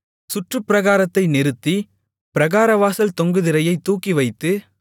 சுற்று பிராகாரத்தை நிறுத்தி பிராகாரவாசல் தொங்கு திரையைத் தூக்கிவைத்து